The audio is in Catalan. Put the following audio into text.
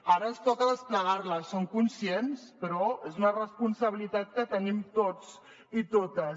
ara ens toca desplegar la en som conscients però és una responsabilitat que tenim tots i totes